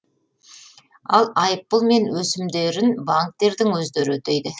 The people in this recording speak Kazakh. ал айыппұл мен өсімдерін банктердің өздері өтейді